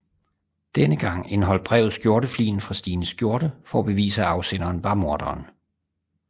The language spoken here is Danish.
Denne gang indeholdt brevet skjortefligen fra Stines skjorte for at bevise at afsenderen var morderen